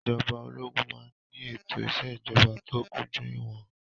Ìjọba ológun máa ń ní ètò ìṣèjọba tó kúnjú ìwọn.